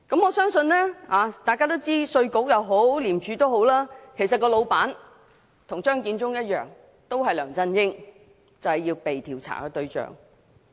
我相信大家都知道，稅務局和廉署跟張建宗一樣，老闆都是梁振英，就是被調查的對象。